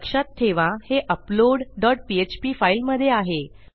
लक्षात ठेवा हे अपलोड डॉट पीएचपी फाईलमधे आहे